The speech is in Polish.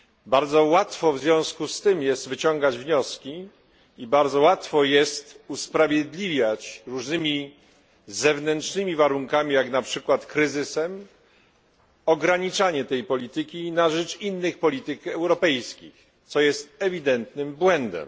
Bardzo łatwo w związku z tym jest wyciągać wnioski i bardzo łatwo jest usprawiedliwiać różnymi zewnętrznymi warunkami jak na przykład kryzysem ograniczanie tej polityki na rzecz innych polityk europejskich, co jest ewidentnym błędem.